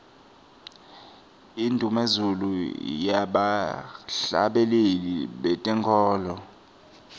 indumezulu yebahhlabeleli betenkholo